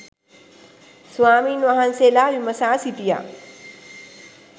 ස්වාමීන් වහන්සේලා විමසා සිටියා